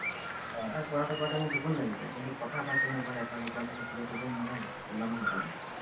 তাইক পঢ়াওতে পঢ়াওতে মোৰ টোপনি লাগি যায়, কিন্তু কথা পাতো mobile ত এটা দুটালেকে, তেতিয়া টোপনি নালাগে ইমান সোনকালে।